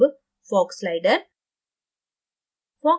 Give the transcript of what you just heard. अब fog slider